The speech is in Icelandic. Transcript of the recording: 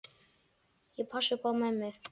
Ég passa upp á mömmu.